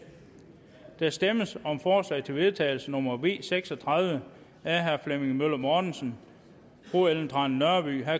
der stemmes om forslag til vedtagelse nummer v seks og tredive af flemming møller mortensen ellen trane nørby